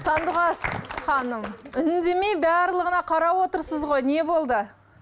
сандуғаш ханым үндемей барлығына қарап отырсыз ғой не болды